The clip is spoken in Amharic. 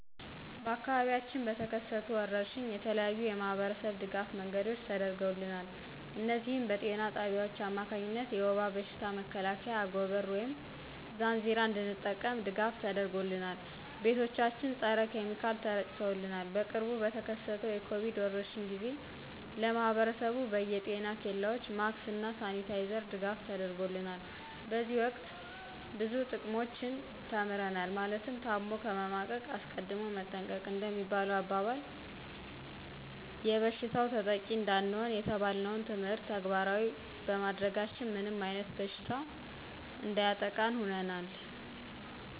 በአካባቢያችን በተከሰቱ ወረርሽኝ የተለያዩ የማህበረሰብ ድጋፍ መንገዶች ተደርገውልናል እነዚህም በጤና ጣቢያዎች አማካኝነት የውባ በሽታ መከላከያ አጎበር ወይም ዛንዚራ እንድንጠቀም ድጋፍ ተደርጎልናል። ቤቶቻችን ፀረ ኪሚካል ተረጭተውልናል። በቅርቡ በተከሰተው የኮቪድ ወረርሽኝ ጊዜ ለማህብረሰቡ በየ ጤና ኬላዎች ማክስ እና ሳኒታይዘር ድጋፍ ተደርጎልናል። በዚህ ወቅት ብዙ ጥቅሞችን ተምረናል ማለትም ታሞ ከመማቀቅ አስቀድሞ መጠንቀቅ እንደሚባለሁ አባባል ይበሽታው ተጠቂ እንዳንሆን የተባልነውን ትምህርት ተግባራዊ ባማድረጋችን ምንም አይነት በሽታ እንዳያጠቃን ሁነናል